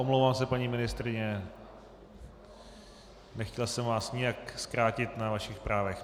Omlouvám se, paní ministryně, nechtěl jsem vás nijak zkrátit na vašich právech.